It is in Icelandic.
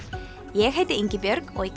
ég heiti Ingibjörg og í